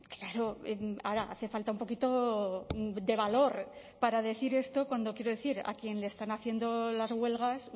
claro ahora hace falta un poquito de valor para decir esto cuando quiero decir a quien le están haciendo las huelgas